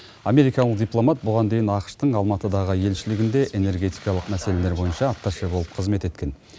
америкалық дипломат бұған дейін ақш тың алматыдағы елшілігінде энергетикалық мәселелер бойынша атташе болып қызмет еткен